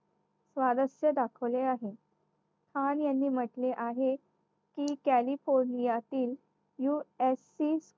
स्वारस्य दाखवले आहे. खान यांनी मध्ये आहे मग कॅलिफोर्निया तील new SP